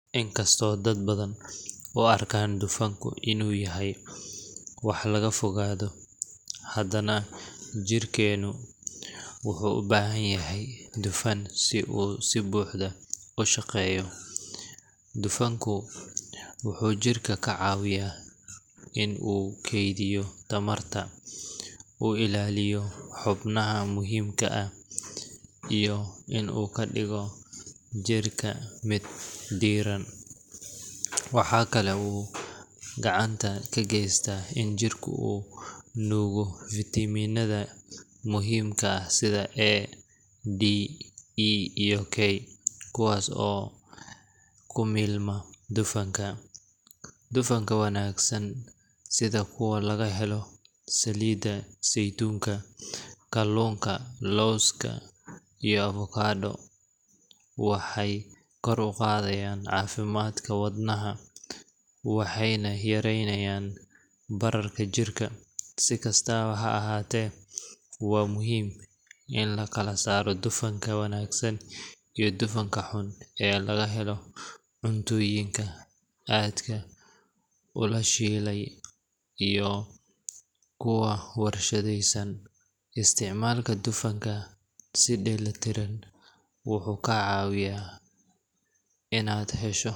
Inkastoo dad badan u arkaan dufanku inuu yahay wax laga fogaado, haddana jirkeenu wuxuu u baahan yahay dufan si uu si buuxda u shaqeeyo. Dufanku wuxuu jirka ka caawiyaa in uu kaydiyo tamarta, uu ilaaliyo xubnaha muhiimka ah, iyo in uu ka dhigo jirka mid diiran. Waxa kale oo uu gacan ka geystaa in jirku uu nuugo fiitamiinada muhiimka ah sida A, D, E, iyo K, kuwaas oo ku milma dufanka. Dufanka wanaagsan sida kuwa laga helo saliidda saytuunka, kalluunka, lawska, iyo avokado ga waxay kor u qaadaan caafimaadka wadnaha waxayna yareeyaan bararka jirka. Si kastaba ha ahaatee, waa muhiim in la kala saaro dufanka wanaagsan iyo dufanka xun ee laga helo cuntooyinka aadka u la shiilay iyo kuwa warshadaysan. Isticmaalka dufanka si dheellitiran wuxuu kaa caawin karaa inaad hesho.